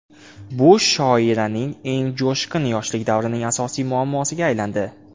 Bu shoiraning eng jo‘shqin yoshlik davrining asosiy muammosiga aylandi.